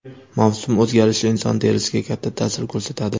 Mavsum o‘zgarishi inson terisiga katta ta’sir ko‘rsatadi.